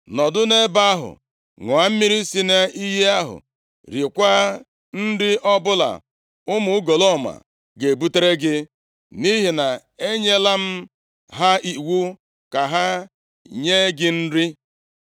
Nọdụ nʼebe ahụ ṅụọ mmiri si nʼiyi ahụ, riekwa nri ọbụla ụmụ ugolọma ga-ebutere gị, nʼihi na enyela m ha iwu ka ha nye gị nri.”